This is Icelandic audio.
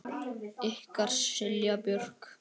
Ykkar Silja Björk.